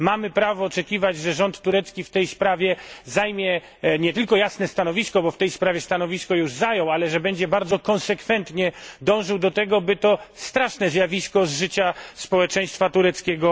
Mamy prawo oczekiwać, że rząd turecki w tej sprawie zajmie nie tylko jasne stanowisko, bo stanowisko takie już zajął, ale że będzie bardzo konsekwentnie dążył do tego, by to straszne zjawisko wyeliminować z życia społeczeństwa tureckiego.